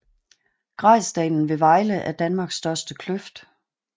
Grejsdalen ved Vejle er Danmarks største kløft